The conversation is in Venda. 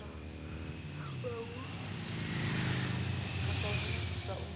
afha hu no vhidzwa u